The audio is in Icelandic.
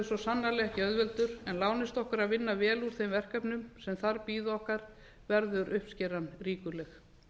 svo sannarlega ekki auðveldur en lánist okkur að vinna vel úr þeim verkefnum sem þar bíða okkar verður uppskeran ríkuleg